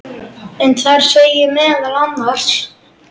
en þar segir meðal annars